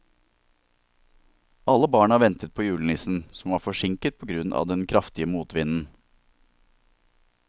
Alle barna ventet på julenissen, som var forsinket på grunn av den kraftige motvinden.